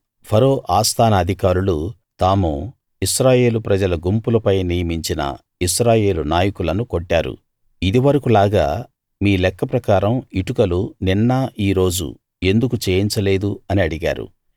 ఫరో ఆస్థాన అధికారులు తాము ఇశ్రాయేలు ప్రజల గుంపులపై నియమించిన ఇశ్రాయేల్ నాయకులను కొట్టారు ఇది వరకూ లాగా మీ లెక్క ప్రకారం ఇటుకలు నిన్న ఈ రోజు ఎందుకు చేయించ లేదు అని అడిగారు